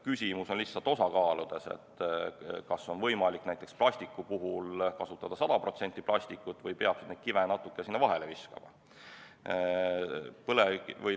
Küsimus on lihtsalt osakaaludes, et kas on võimalik näiteks plastiku puhul kasutada 100% plastikut või peaks neid kive sinna natuke vahele viskama.